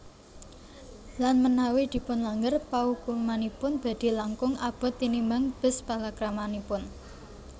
Lan menawi dipunlanggar paukumanipun badhe langkung abot tinimbang bes palakramanipun